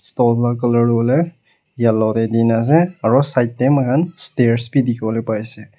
stoll la colour tu hoi le yellow te di ne ase aru side te moi khan stairs bi dikhi wole pa ase.